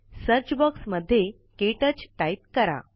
search बॉक्समध्ये क्टच type करा